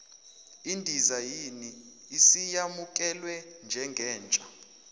idizayini isiyamukelwe njengentsha